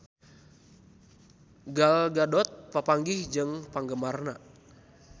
Gal Gadot papanggih jeung penggemarna